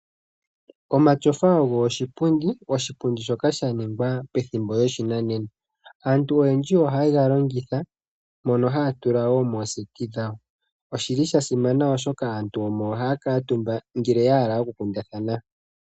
Omatyofa ogo iipundi , iipundi mbyoka ya ningwa pethimbo lyoshinanena. Aantu oyendji oha ye ga longitha mono haya tula woo mooseti dhawo. Oshi li sha simana oshoka aantu omo ha ya kuutumba ngele ya hala oku kundathana.